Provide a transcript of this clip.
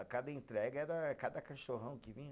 A cada entrega era é cada cachorrão que vinha.